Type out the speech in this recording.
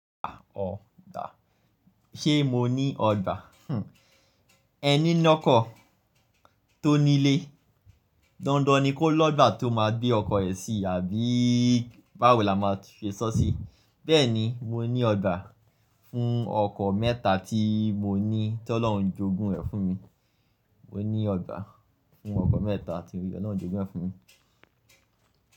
Ah! Ọgbà. Ṣé mo ní ọgbà? Hmm, ẹni lọ́kọ̀ tó nílé, dandan ni kó lọ́gbà tó máa gbé ọkọ̀ rẹ̀ sí àbí báwo la máa ṣe sọ sí. Bẹ́ẹ̀ ni, mo ní ọgbà fún ọkọ̀ mẹ́ta tí mo ní tí Ọlọ́run jogún rẹ̀ fún mi. Mo ní ọgbà fún ọkọ̀ mẹ́ta tí Ọlọ́run jogún rẹ̀ fún mi.